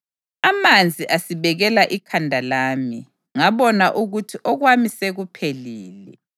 amanzi asibekela ikhanda lami, ngabona ukuthi okwami sekuphelile.